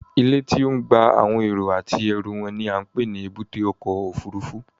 Ilé tí à ń gba àwọn èrò àti ẹrú wọn ni à ń pè ní Èbúté ọkọ̀ Òfurufú